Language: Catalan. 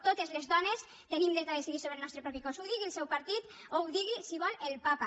totes les dones tenim dret a decidir sobre el nostre propi cos ho digui el seu partit o ho digui si vol el papa